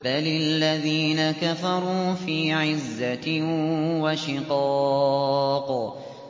بَلِ الَّذِينَ كَفَرُوا فِي عِزَّةٍ وَشِقَاقٍ